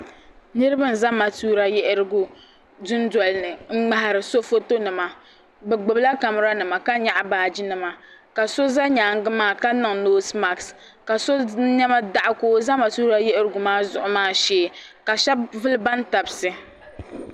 Niriba n-za matuka yiɣirigu dundoli ni ŋ-ŋmahiri so fotonima bɛ gbubila kameranima ka nyaɣi baajinima ka so za nyaaŋa maa ka niŋ noosi maaki ka so nɛma daɣi ka o za matuka yiɣirigu maa zuɣu maa shee ka shɛba vuli bantabisi.